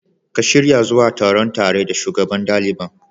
Ka shirya zuwa taron tare da Shugaban ɗaliban.